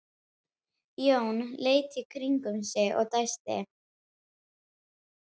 Hann hét Grettir og Línu fannst lítið til hans koma: